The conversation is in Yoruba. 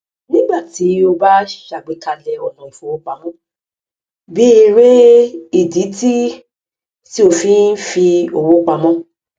nígbà tí o bá ṣàgbékalẹ ọnà ìfowópamọ béèrè ìdí tí tí o fi ń fi owó pamọ